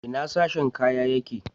Ina sashen ka yake?